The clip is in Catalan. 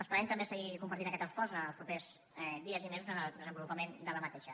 esperem també seguir compartint aquest esforç en els propers dies i mesos en el desenvolupament d’aquesta